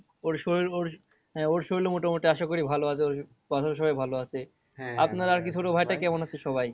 ওর শরীর ওর হ্যাঁ ওর শরীরও মোটামুটি আশা করি ভালো আছে ওর বাসারও সবাই ভালো আছে কেমন আছে সবাই?